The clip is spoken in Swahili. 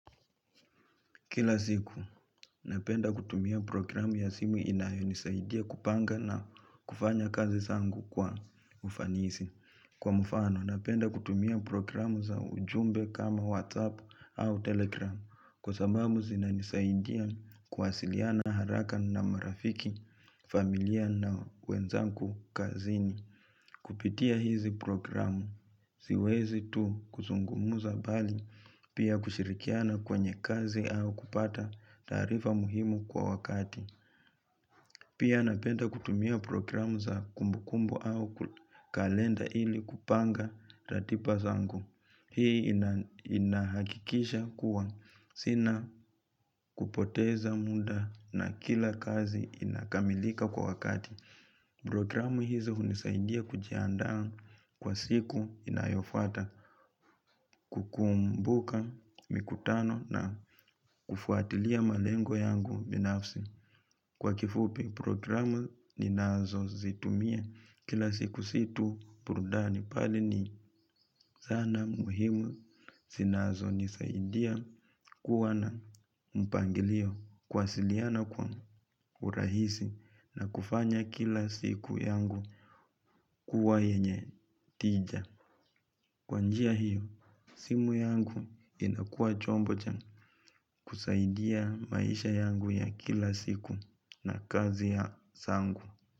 Kila siku, napenda kutumia programu ya simu inayo nisaidia kupanga na kufanya kazi zangu kwa ufanisi. Kwa mfano, napenda kutumia programu za ujumbe kama WhatsApp au Telegram. Kwa sababu zinanisaidia kuwasiliana haraka na marafiki, familia na wenzangu kazini. Kupitia hizi programu. Siwezi tu kuzungumuza bali. Pia kushirikiana kwenye kazi au kupata taarifa muhimu kwa wakati. Pia napenda kutumia programu za kumbukumbu au kalenda ili kupanga ratiba zangu. Hii inahakikisha kuwa sina kupoteza muda na kila kazi inakamilika kwa wakati. Programu hizo hunisaidia kujiandaa kwa siku inayofuata kukumbuka mikutano na kufuatilia malengo yangu binafsi. Kwa kifupi programu ninazo zitumia kila siku si tu burudani bali ni zana muhimu zinazo nisaidia kuwa na mpangilio kuwasiliana kwa urahisi na kufanya kila siku yangu kuwa yenye tija. Kwa njia hiyo simu yangu inakwua chombo cha kusaidia maisha yangu ya kila siku na kazi ya zangu.